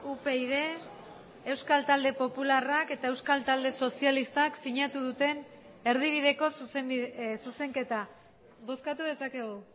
upyd euskal talde popularrak eta euskal talde sozialistak sinatu duten erdibideko zuzenketa bozkatu dezakegu